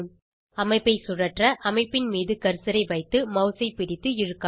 அமைப்பை சுழற்ற அமைப்பின் மீது கர்சரை வைத்து மவுஸை பிடித்து இழுக்கவும்